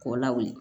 K'o lawuli